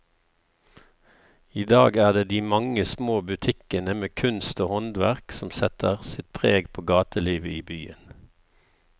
I dag er det de mange små butikkene med kunst og håndverk som setter sitt preg på gatelivet i byen.